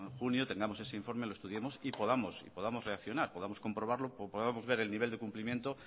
junio tengamos ese informe lo estudiemos y podamos reaccionar podamos comprobarlo podamos ver el nivel de cumplimiento